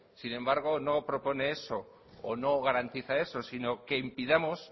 sin embargo no propone eso o no garantiza eso sino que impidamos